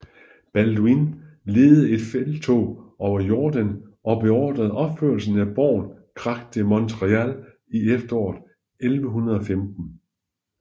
Balduin ledede et felttog over Jordan og beordrede opførelsen af borgen Krak de Montréal i efteråret 1115